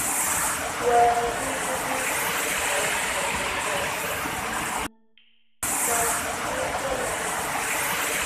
well dis dis thing i wan tok dey short um but um also long